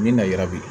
Ni na yira bi